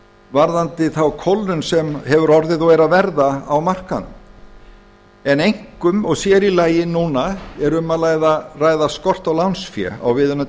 varðandi þá kólnun sem hefur orðið og er að verða á markaðnum en einkum og sér í lagi núna er um að ræða skort á lánsfé á viðunandi